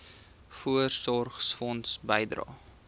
voorsorgfonds bydrae